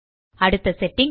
அடுத்த செட்டிங்